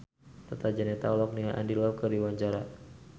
Tata Janeta olohok ningali Andy Lau keur diwawancara